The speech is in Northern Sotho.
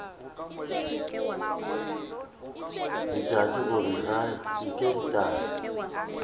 laetša gore ga se ka